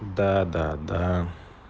да-да-да